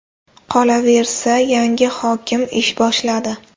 Qolaversa, yangi hokim ish boshladi.